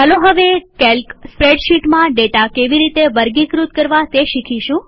ચાલો હવે કેલ્ક સ્પ્રેડશીટમાં ડેટા કેવી રીતે વર્ગીકૃત કરવા તે શીખીશું